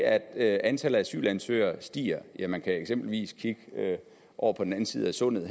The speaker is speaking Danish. at antallet af asylansøgere stiger kan man eksempelvis kigge over på den anden side af sundet